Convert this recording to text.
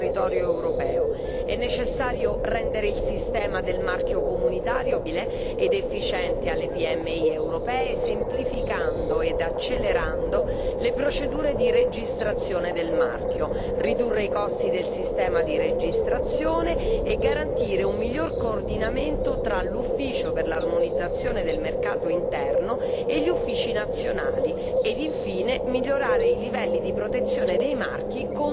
È necessario rendere il sistema del marchio comunitario più accessibile alle PMI europee e più efficiente, semplificando ed accelerando le procedure di registrazione del marchio, ridurre i costi del sistema di registrazione e garantire un miglior coordinamento tra l'Ufficio per l'armonizzazione del mercato interno e gli uffici nazionali ed infine migliorare i livelli di protezione dei marchi contro la contraffazione.